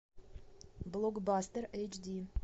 блокбастер эйч ди